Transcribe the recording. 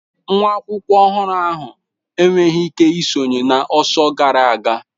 Nwa akwụkwọ ọhụrụ ahụ enweghị ike isonye na ọsọ gara aga.